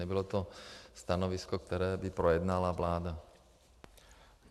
Nebylo to stanovisko, které by projednala vláda.